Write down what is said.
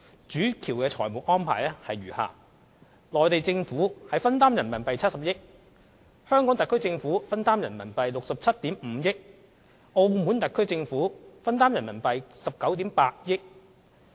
主橋的財務安排如下：內地政府分擔70億元人民幣，香港特區政府分擔67億 5,000 萬元人民幣，澳門特區政府分擔19億 8,000 萬元人民幣。